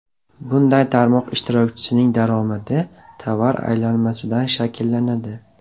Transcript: Bunday tarmoq ishtirokchisining daromadi tovar aylanmasidan shakllanadi.